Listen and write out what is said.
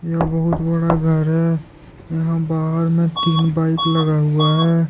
यह बहुत बड़ा घर है यहां बाहर में तीन बाइक लगा हुआ है।